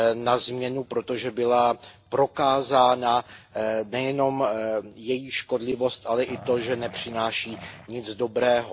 na změnu, protože byla prokázána nejenom její škodlivost, ale i to, že nepřináší nic dobrého.